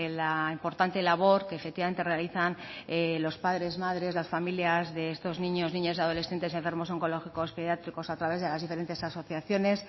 la importante labor que efectivamente realizan los padres madres las familias de estos niños niñas y adolescentes y enfermos oncológicos pediátricos a través de las diferentes asociaciones